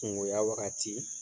Kungoya wagati,